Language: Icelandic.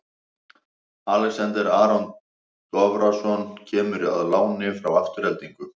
Alexander Aron Davorsson kemur á láni frá Aftureldingu.